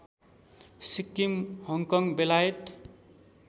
Sikkim Hong Kong बेलायत